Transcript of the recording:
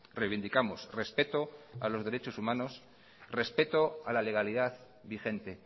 reivindicamos respeto a los derechos humanos respeto a la legalidad vigente